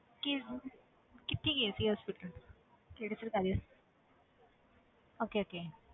ਕਿਸ ਕਿੱਥੇ ਗਏ ਸੀ hospital ਕਿਹੜੇ ਸਰਕਾਰੀ okay okay